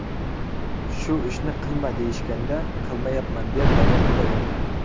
Shu ishni qilma, deyishganda qilmayapman, deb davom etaverdim.